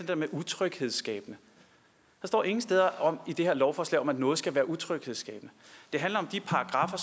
der med utryghedsskabende der står ingen steder i det her lovforslag noget om at noget skal være utryghedsskabende det handler om de paragraffer